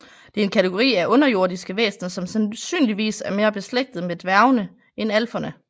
Det er en kategori af underjordiske væsener som sandsynligvis er mere beslægtet med dværgene end alferne